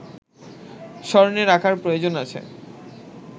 স্মরণে রাখার প্রয়োজন আছে